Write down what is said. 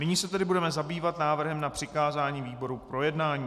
Nyní se tedy budeme zabývat návrhem na přikázání výboru k projednání.